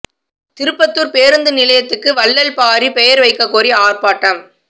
திருப்பத்தூா் பேருந்து நிலையத்துக்கு வள்ளல் பாரி பெயா் வைக்கக் கோரி ஆா்ப்பாட்டம்